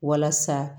Walasa